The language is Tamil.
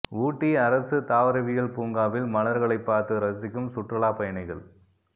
ஊட்டி அரசு தாவரவியல் பூங்காவில் மலர்களை பார்த்து ரசிக்கும் சுற்றுலா பயணிகள்